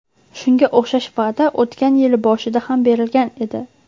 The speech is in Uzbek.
Shunga o‘xshash va’da o‘tgan yil boshida ham berilgan edi .